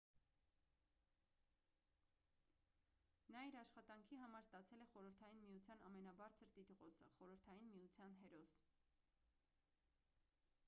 նա իր աշխատանքի համար ստացել է խորհրդային միության ամենաբարձր տիտղոսը խորհրդային միության հերոս